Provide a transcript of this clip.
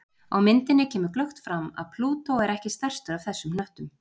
á myndinni kemur glöggt fram að plútó er ekki stærstur af þessum hnöttum